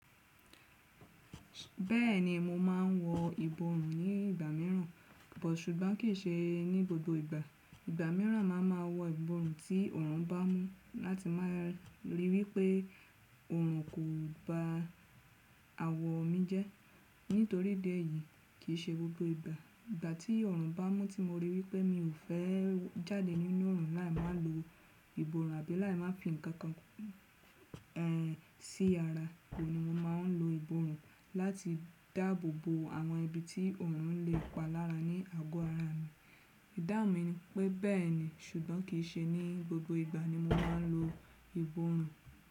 Bẹ́ẹ̀ni mo máa ń wọ ìborùn ní ìgbà mìíràn, but ṣùgbọ́n kì í ṣe ní gbogbo ìgbà. Ìgbà mìíràn ma ma wọ ìborùn ti ọ̀run bá mú láti máa rí wípé ọ̀run kò gba àwọ̀ mi jẹ́. Nítorí idi ẹ̀ yìí kìí ṣe gbogbo ìgbà. Ìgbà tí ọ̀run bá mú tí mo rí wípé mi ò fẹ́ jáde nínú ọ̀run láé máa lo ìborùn àbí láé máa fi ǹkan kan ẹ́ sí ara. Òhun ní mo máa ń lo ìborùn láti dáàbò bo àwọn ibi tí ọ̀run lè pa lára ní àgọ́ ara mi. Ìdáhùn mi ni pé bẹ́ẹ̀ni ṣùgbọ́n kì í ṣe ní gbogbo ìgbà ni mo máa ń lo ìborùn.